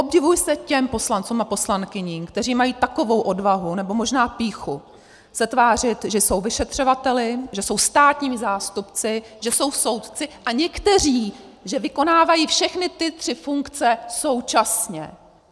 Obdivuji se těm poslancům a poslankyním, kteří mají takovou odvahu, nebo možná pýchu, se tvářit, že jsou vyšetřovateli, že jsou státními zástupci, že jsou soudci a někteří že vykonávají všechny ty tři funkce současně!